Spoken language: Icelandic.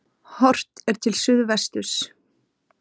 Horft er til suðvesturs.